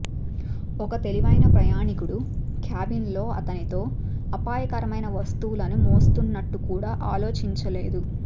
ఒక తెలివైన ప్రయాణీకుడు క్యాబిన్లో అతనితో అపాయకరమైన వస్తువులని మోస్తున్నట్లు కూడా ఆలోచించలేదు